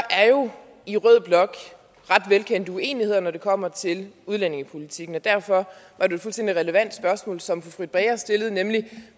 der er jo i rød blok ret velkendte uenigheder når det kommer til udlændingepolitikken og derfor var det et fuldstændig relevant spørgsmål som fru britt bager stillede nemlig